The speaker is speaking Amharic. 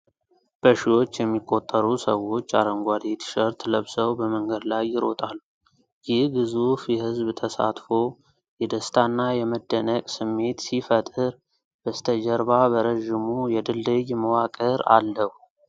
በሺዎች የሚቆጠሩ ሰዎች አረንጓዴ ቲሸርት ለብሰው በመንገድ ላይ ይሮጣሉ። ይህ ግዙፍ የህዝብ ተሳትፎ የደስታና የመደነቅ ስሜት ሲፈጥር፣ በስተጀርባ በረዥሙ የድልድይ መዋቅር አለው።